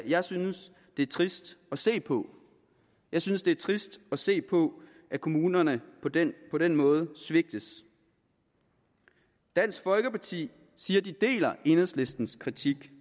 jeg synes det er trist at se på jeg synes det er trist at se på at kommunerne på den på den måde svigtes dansk folkeparti siger at de deler enhedslistens kritik